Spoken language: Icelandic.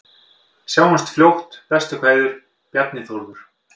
Sjáumst fljótt, bestu kveðjur: Bjarni Þórður